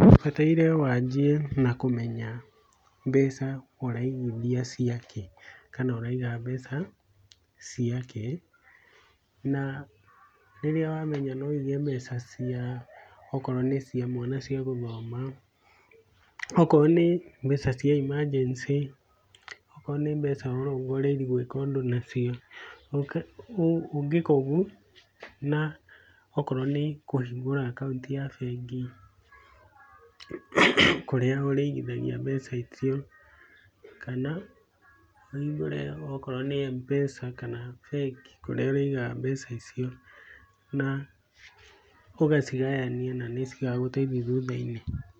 Ũbataire wanjie na kũmenya mbeca ũraigithia ciakĩ kana ũraiga mbeca ciakĩ, na rĩrĩa wamenya no wĩige mbeca cia okorwo nĩ cia mwana cia gũthoma, okorwo nĩ mbeca cia emergency, okorwo nĩ mbeca ũrongoreirie gwĩka ũndũ nacio, ũngĩka ũguo na okorwo nĩ kũhingũra akaunti ya bengi, kũrĩa ũrĩigithagia mbeca icio, kana ũhingũre okorwo nĩ Mpesa kana bengi kũrĩa ũrĩigaga mbeca icio, na ũgacigayania na nĩcigagũteithia thutha-inĩ.